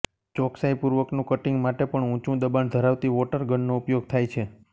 ચોકસાઇપૂર્વકનું cutting માટે પણ ઉંચું દબાણ ધરાવતી વોટર ગનનો ઉપયોગ થાય છે